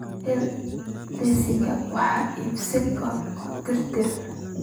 hel liiska wax iibsiga oo tirtir